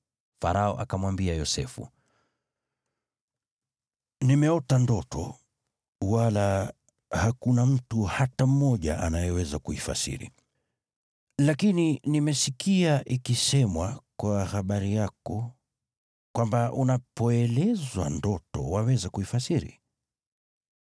Farao akamwambia Yosefu, “Nimeota ndoto, wala hakuna mtu hata mmoja anayeweza kuifasiri. Lakini nimesikia ikisemwa kwa habari yako kwamba unapoelezwa ndoto waweza kuifasiri.”